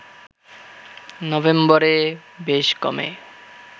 নভেম্বরে বেশ কমে